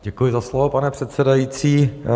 Děkuji za slovo, pane předsedající.